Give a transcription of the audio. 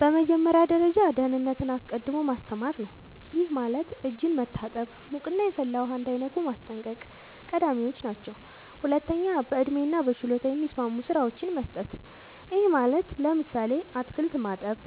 በመጀመሪያ ደረጃ ደህንነትን አስቀድሞ ማስተማር ነዉ ይሄም ማለት እጅን መታጠብ ሙቅና የፈላ ውሃ እንዳይነኩ ማስጠንቀቅ ቀዳሚወች ናቸው ሁለተኛ በእድሜና በችሎታ የሚስማሙ ስራወችን መስጠት ይሄም ማለት ለምሳሌ አትክልት ማጠብ